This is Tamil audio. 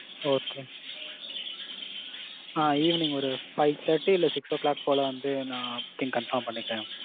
Okay. ஆ Evening ஒரு five thirty இல்ல six'o clock போல வந்து நான் booking confirm பண்ணிக்கிறேன்.